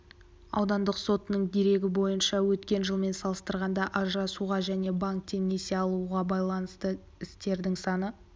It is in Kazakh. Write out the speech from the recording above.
аудандық сотының дерегі бойынша өткен жылмен салыстырғанда ажырасуға және банктен несие алуға байланысты істердің саны